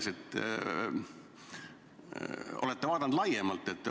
Kas te olete vaadanud laiemalt?